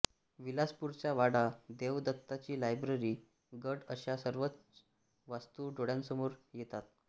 विलासपूरचा वाडा देवदत्ताची लायब्ररी गड अश्या सर्वच वास्तू डोळ्यांसमोर येतात